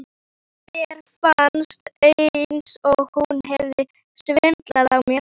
Mér fannst eins og hún hefði svindlað á mér.